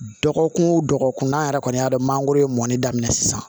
Dɔgɔkun o dɔgɔkun an yɛrɛ kɔni y'a dɔn mangoro ye mɔni daminɛ sisan